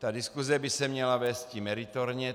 Ta diskuse by se měla vésti meritorně.